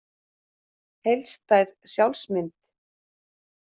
Heildstæð sjálfsmynd.